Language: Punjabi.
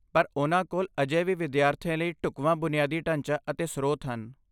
ਪਰ ਉਹਨਾਂ ਕੋਲ ਅਜੇ ਵੀ ਵਿਦਿਆਰਥੀਆਂ ਲਈ ਢੁਕਵਾਂ ਬੁਨਿਆਦੀ ਢਾਂਚਾ ਅਤੇ ਸਰੋਤ ਹਨ।